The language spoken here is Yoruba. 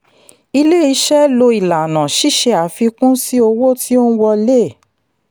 ilé iṣẹ́ lò ìlànà ṣíṣe àfikún sí owó tí ó ń wọlé.